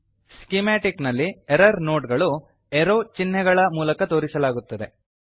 schematic ನಲ್ಲಿ error node ಗಳು arrow ಚಿಹ್ನೆಗಳ ಮೂಲಕ ತೋರಿಸಲಾಗುತ್ತದೆ